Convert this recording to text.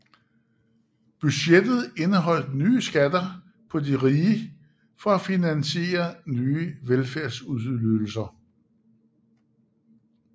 Budgettet indeholdt nye skatter på de rige for at finansiere nye velfærdsydelser